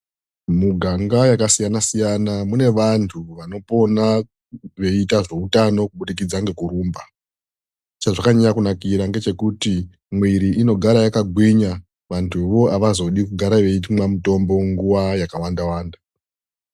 Muganga yakasiyana siyana mune vantu vanopona veiita zveutano kubudikidza nekurumba. Chazvakanyanya kunakira ndechekuti mwiri inogara yakagwinya vantuwo havazodi kugara veimwa mutombo nguva yakawanda.